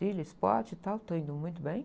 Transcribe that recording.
Trilha, e tal, tá indo muito bem.